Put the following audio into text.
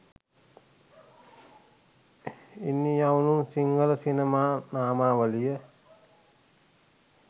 ඉනියවන් සිංහල සිනමා නාමාවලිය